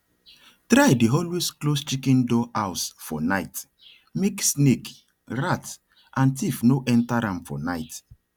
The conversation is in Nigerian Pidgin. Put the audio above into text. try dey always close chicken door house for night make snake rat and thief no enter am for night